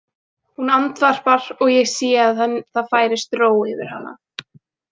Hún andvarpar og ég sé að það færist ró yfir hana.